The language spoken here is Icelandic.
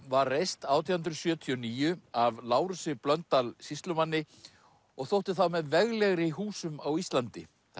var reist átján hundruð sjötíu og níu af Lárusi Blöndal sýslumanni og þótti þá með veglegri húsum á Íslandi það